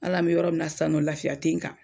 Ala an bi yɔrɔ min na san lafiya tɛ n kan.